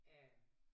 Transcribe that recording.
Ja